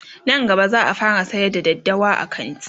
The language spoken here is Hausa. Nan gaba zaa fara sayar da daddawa a kanti